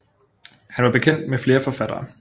Han var bekendt med flere forfattere